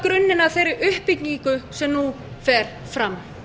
skapar grunninn að þeirri uppbyggingu sem nú fer fram